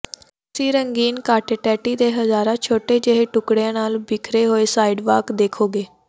ਤੁਸੀਂ ਰੰਗੀਨ ਕਾਂਟੇਟੇਟੀ ਦੇ ਹਜ਼ਾਰਾਂ ਛੋਟੇ ਜਿਹੇ ਟੁਕੜਿਆਂ ਨਾਲ ਬਿਖਰੇ ਹੋਏ ਸਾਈਡਵਾਕ ਦੇਖੋਗੇ